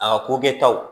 A ka ko kɛ taw